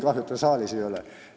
Kahju, et teda saalis ei ole.